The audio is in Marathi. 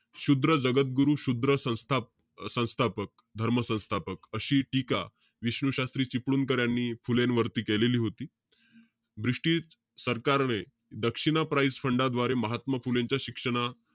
शूद्र जगतगुरु, शूद्र संस्था~ संस्थापक~ धर्म संस्थापक अशी टीका विष्णू शास्त्री चिपळूणकर यांनी फुलेंवरती केलेली होती. british सरकारने दक्षिण प्राईस फंडाद्वारे, महात्मा फुलेंच्या शिक्षणा,